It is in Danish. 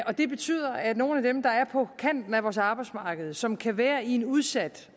det betyder at nogle af dem der er på kanten af vores arbejdsmarked og som kan være i en udsat